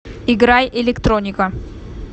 играй электроника